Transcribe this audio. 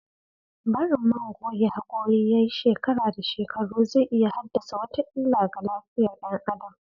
Barin man goge hakuri yayi shekara da shekaru zai iya haddasa wata illa ga lafiyar "yan adam.